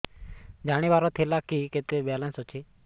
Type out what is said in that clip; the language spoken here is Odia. ଜାଣିବାର ଥିଲା କି କେତେ ବାଲାନ୍ସ ଅଛି